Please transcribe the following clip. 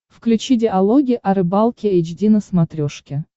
включи диалоги о рыбалке эйч ди на смотрешке